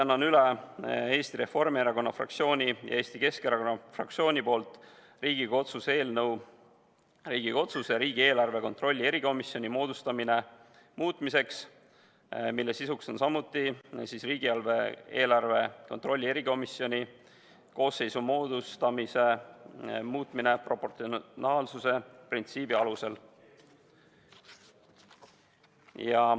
Annan üle ka Eesti Reformierakonna fraktsiooni ja Eesti Keskerakonna fraktsiooni nimel Riigikogu otsuse "Riigikogu otsuse "Riigikogu otsuse "Riigieelarve kontrolli erikomisjoni moodustamine" muutmine" eelnõu, mille sisuks on samuti erikomisjoni koosseisu moodustamise muutmine, lähtudes proportsionaalsuse printsiibist.